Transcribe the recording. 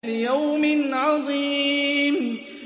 لِيَوْمٍ عَظِيمٍ